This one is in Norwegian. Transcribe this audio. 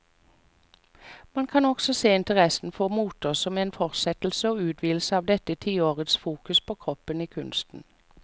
Man kan også se interessen for moter som en fortsettelse og utvidelse av dette tiårets fokus på kroppen i kunsten.